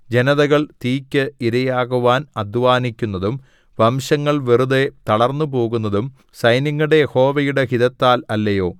ജനതകൾ തീയ്ക്ക് ഇരയാകുവാൻ അദ്ധ്വാനിക്കുന്നതും വംശങ്ങൾ വെറുതെ തളർന്നുപോകുന്നതും സൈന്യങ്ങളുടെ യഹോവയുടെ ഹിതത്താൽ അല്ലയോ